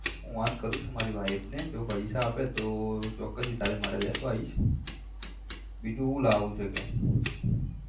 phone કરું છું મારી wife ને જો પૈસા આપે તો ચોક્કસ ઈ તારા માટે લેતો આઈસ બીજું હુ લાવું છે કે?